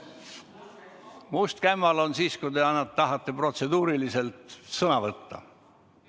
Must kämmal on siis, kui te tahate protseduuriliselt sõna võtta.